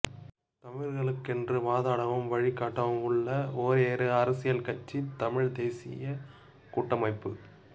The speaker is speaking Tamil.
தமிழர்களுக்கென்று வாதாடவும் வழிகாட்டவும் உள்ள ஒரேயொரு அரசியல் கட்சி தமிழ்த் தேசிய கூட்டமைப்பு